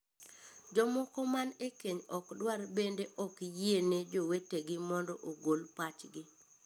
Jomoko man ekeny ok dwar bende ok yiene jowetegi mondo ogol pachgi.